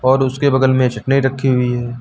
और उसके बगल में चटनी रखी हुई है।